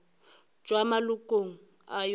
tšwa malokong a yona go